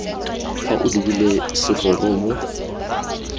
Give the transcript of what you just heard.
fa o lebile segoro mo